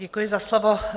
Děkuji za slovo.